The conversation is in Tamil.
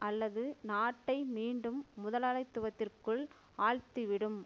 அல்லது நாட்டை மீண்டும் முதலாளித்துவத்திற்குள் ஆழ்த்திவிடும்